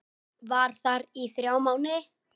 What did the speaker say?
Var þar í þrjá mánuði.